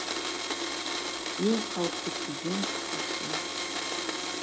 ең қауіпті кезең осы